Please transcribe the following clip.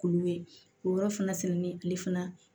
K'olu ye k'o yɔrɔ fana sɛnɛ ni ale fana